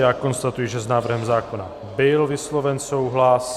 Já konstatuji, že s návrhem zákona byl vysloven souhlas.